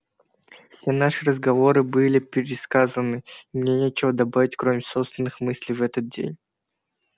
все наши разговоры были пересказаны и мне нечего добавить кроме собственных мыслей в этот день